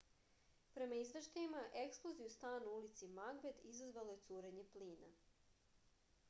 prema izveštajima eksploziju stana u ulici magbet izazvalo je curenje plina